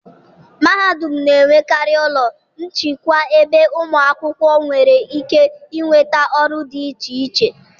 mahadum na-enwekarị ụlọ nchịkwa ebe ụmụ akwụkwọ nwere ike ịnweta ọrụ dị iche iche.